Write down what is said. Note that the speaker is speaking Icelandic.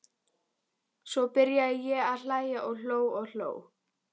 Svo byrjaði ég að hlæja og hló og hló.